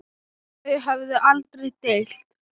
Þau höfðu aldrei deilt.